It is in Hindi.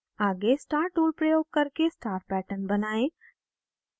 आगे star tool प्रयोग करके star pattern बनाएं